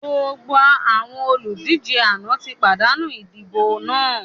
Gbogbo àwọn olùdíje àná ti pàdánù idibo náà!